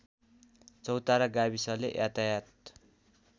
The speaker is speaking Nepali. चौतारा गाविसले यातायत